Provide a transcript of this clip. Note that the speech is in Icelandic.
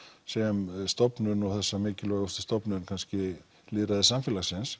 sem stofnun og þessa mikilvægustu stofnun kannski lýðræðissamfélagsins